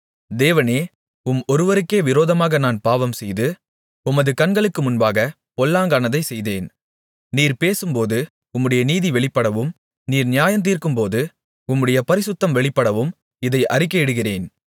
தேவனே உம் ஒருவருக்கே விரோதமாக நான் பாவம்செய்து உமது கண்களுக்கு முன்பாகப் பொல்லாங்கானதை செய்தேன் நீர் பேசும்போது உம்முடைய நீதி வெளிப்படவும் நீர் நியாயந்தீர்க்கும்போது உம்முடைய பரிசுத்தம் வெளிப்படவும் இதை அறிக்கையிடுகிறேன்